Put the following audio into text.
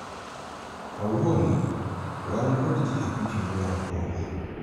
kawuono wan kod jii abich ma dwaro hola